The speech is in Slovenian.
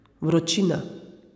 Vročina.